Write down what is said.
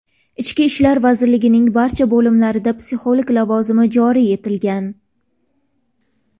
Ichki ishlar vazirligining barcha bo‘limlarida psixolog lavozimi joriy etilgan.